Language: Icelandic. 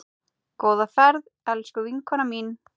Góða ferð, elsku vinkona mín.